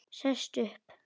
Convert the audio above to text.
Sest upp.